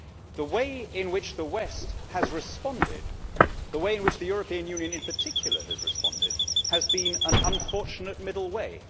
The way in which the West has responded, the way in which the European Union in particular has responded, has been an unfortunate middle way.